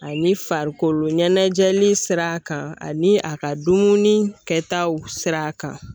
Ani farikolo ɲɛnɛjɛli sira kan ani a ka dumuni kɛtaw sira kan